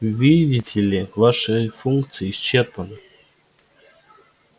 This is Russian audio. видите ли ваши функции исчерпаны